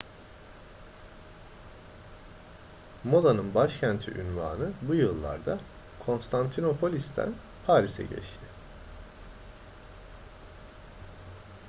modanın başkenti unvanı bu yıllarda konstantinopolis'ten paris'e geçti